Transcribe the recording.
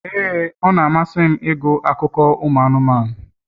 ee, ọ na-amasị m ịgụ akụkọ anụmanụ.